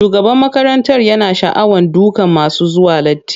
Shugaban makarantar yana sha'awar dukan masu zuwa latti.